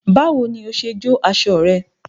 Báwo ni o ṣe jó aṣọ rẹ?